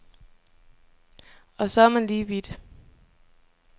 Og så er man lige vidt.